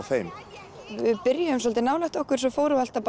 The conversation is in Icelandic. þeim við byrjuðum svolítið nálægt okkur en svo fórum við alltaf